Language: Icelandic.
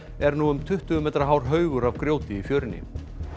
er nú um tuttugu metra hár haugur af grjóti í fjörunni